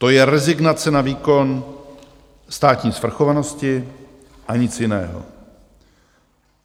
To je rezignace na výkon státní svrchovanosti a nic jiného.